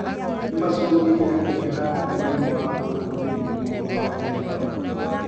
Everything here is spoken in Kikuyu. Nimashũngire mũhera nĩũndũ wa ũhũthĩri mũũru wa iheo